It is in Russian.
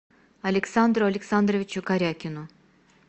александру александровичу карякину